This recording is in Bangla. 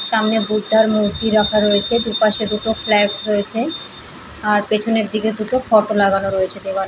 সামনে বুদ্ধার মূর্তি রাখা রয়েছে। দুপাশের দুটো ফ্ল্যাগস রয়েছে। আর পেছনের দিকে দুটো ফটো লাগানো রয়েছে দেওয়ালে।